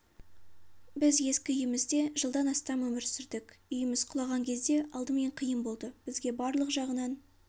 біз ескі үйімізде жылдан астам өмір сүрдік үйіміз құлаған кезде алдымен қиын болды бізге барлық жағынан